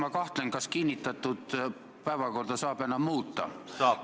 Ma kahtlen, kas kinnitatud päevakorda saab enam muuta.